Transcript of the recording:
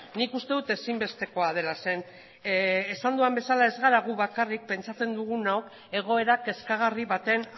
nik uste dut ezinbestekoa dela zeren eta esan dugun bezala ez gara gu bakarrik pentsatzen dugunok egoera kezkagarri baten